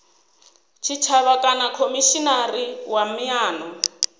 tshitshavha kana khomishinari wa miano